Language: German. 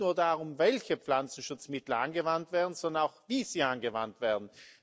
Es geht nicht nur darum, welche Pflanzenschutzmittel angewandt werden, sondern auch wie sie angewandt werden.